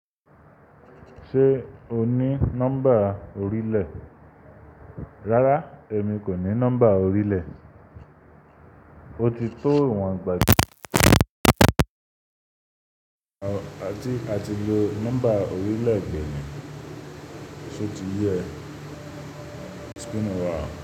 Ṣé o ní nọ́mbà orílẹ̀? Rárá, èmi kò ní nọ́mbà orílẹ̀. O ti tó ìwọ̀n gbàgede. A ti lo nọ́mbà orílẹ̀ edè ni, ṣe o ti yẹ e?